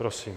Prosím.